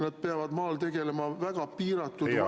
Nad peavad maal tegelema väga piiratud valikuga …